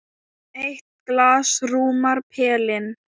Eitt glas rúmar pelinn.